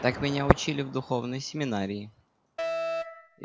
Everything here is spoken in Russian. так меня учили в духовной семинарии